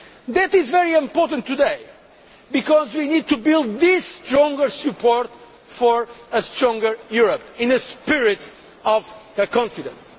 That is very important today because we need to build this stronger support for a stronger Europe in a spirit of confidence.